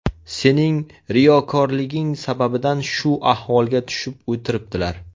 Sening riyokorliging sababidan shu ahvolga tushib o‘tiribdilar.